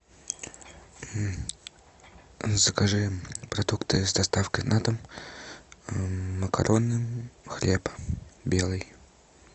закажи продукты с доставкой на дом макароны хлеб белый